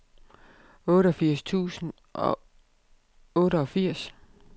otteogfirs tusind og otteogfirs